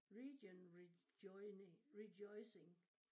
Region rejoining rejoicing